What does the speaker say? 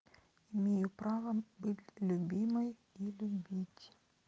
имею право быть любимой и любить